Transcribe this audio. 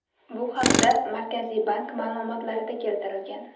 Bu haqda Markaziy bank ma’lumotlarida keltirilgan .